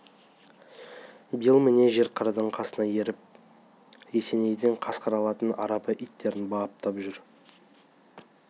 биыл міне жер қарадан қасына еріп есенейдің қасқыр алатын арабы иттерін баптап жүр